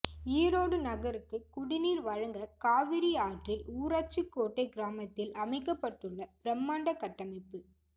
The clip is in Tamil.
ஈரோடு நகருக்கு குடிநீர் வழங்கக் காவிரி ஆற்றில் ஊராட்சிக்கோட்டை கிராமத்தில் அமைக்கப்பட்டுள்ள பிரமாண்ட கட்டமைப்பு